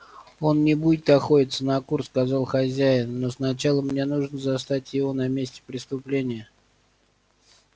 он не будет охотиться на кур сказал хозяин но сначала мне нужно застать его на месте преступления